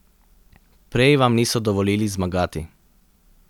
Prej vam niso dovolili zmagati.